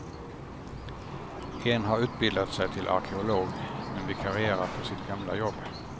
En har utbildat sig till arkeolog, men vikarierar på sitt gamla jobb.